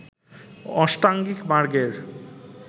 অষ্টাঙ্গিক মার্গের